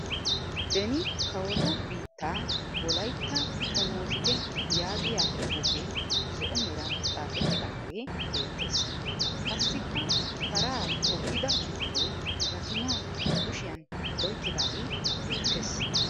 "Beni kawotu biittaa wolayitta xomoosite "yaagiya xuufee zo'o meran xaafettaage beettes. Qassikka paraa toggida bitane gatimaa ba kushiyan oyikkidaagee beettes.